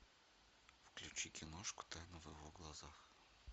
включи киношку тайна в его глазах